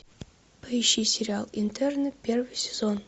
поищи сериал интерны первый сезон